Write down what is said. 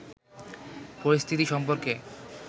পরিস্থিতি সম্পর্কে